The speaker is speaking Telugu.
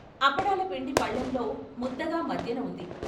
అప్పడాల పిండి పళ్ళెంలో ముద్దగా మధ్యన ఉంది.